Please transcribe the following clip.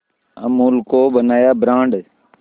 अमूल को बनाया ब्रांड